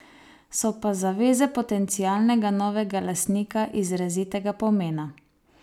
So pa zaveze potencialnega novega lastnika izrazitega pomena.